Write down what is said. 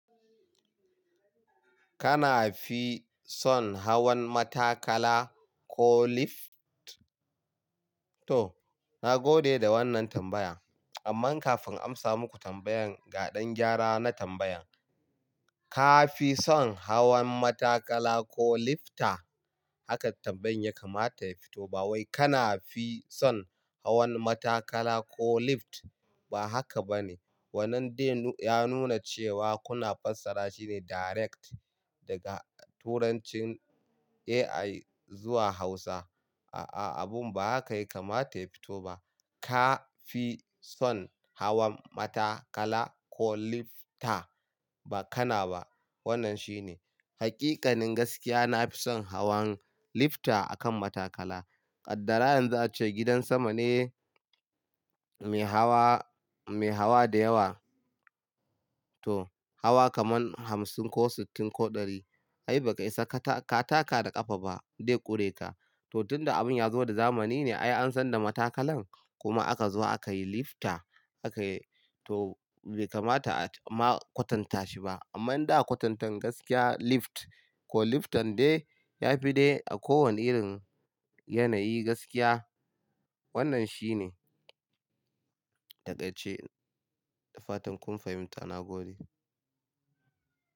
Kana fi son hawan matakala ko lift? To, na gode da wannan tambaya. Amma kafin amsa muku tambayan, ga ɗan gyara na tambayan. Ka fi son hawan matakala ko lifta? Haka tambayan ya kamata ya fito ba. Wai kana fi son hawan matakala ko lift? Ba haka ba ne. Wannan dai ya nuna cewa kuna fassara shi ne direct daga turancin AI zuwa Hausa. A'a, abun ba haka yake kamata ya fito ba. Ka fi son hawan matakala ko lifta? Ba kana ba. Wannan shi ne. Hakikanin gaskiya, na fi son hawan lifta akan matakala. Ƙaddarayan za a ce gidan sama ne mai hawa, mai hawa da yawa. To, hawa kaman hamsin ko sittin ko ɗari. Ai bai kai sa ka taka da ƙafa ba, dai ƙure ka. To tun da abun ya zo da zamani ne ai an san da matakalan. Kuma aka zo aka yi lifta aka yi to bai kamata a ma kwatanta shi ba. Amma in da kwatantan gaskiya lift ko liftan dai ya fi dai a kowane irin yanayi gaskiya. Wannan shi ne. Takaice. Da fatan kun fahimta. Na gode.